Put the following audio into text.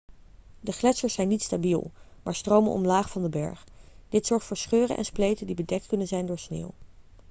de gletsjers zijn niet stabiel maar stromen omlaag van de berg dit zorgt voor scheuren en spleten die bedekt kunnen zijn door sneeuw